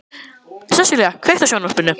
Sessilía, kveiktu á sjónvarpinu.